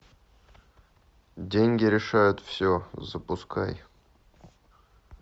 деньги решают все запускай